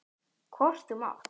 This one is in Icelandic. Hvort þú mátt.